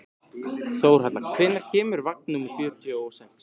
Þórhalla, hvenær kemur vagn númer fjörutíu og sex?